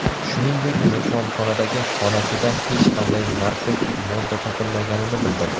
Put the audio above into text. Shuningdek, mehmonxonadagi xonasida hech qanday narkotik modda topilmaganini bildirdi.